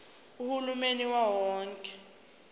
uhulumeni wawo wonke